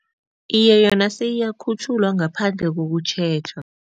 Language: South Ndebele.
Iye, yona seyiyakhutjhulwa ngaphandle kokutjhejwa.